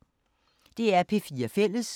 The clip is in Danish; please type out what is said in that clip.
DR P4 Fælles